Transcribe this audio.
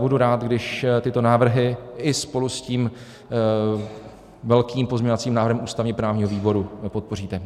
Budu rád, když tyto návrhy i spolu s tím velkým pozměňovacím návrhem ústavně-právního výboru podpoříte.